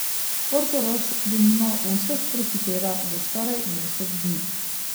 Portorož denimo v vseh prehiteva za skoraj mesec dni.